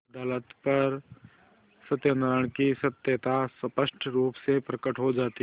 अदालत पर सत्यनारायण की सत्यता स्पष्ट रुप से प्रकट हो जाती